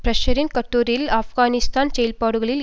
பிஷ்ஷரின் கட்டுரையில் ஆப்கானிஸ்தான் செயல்பாடுகளில்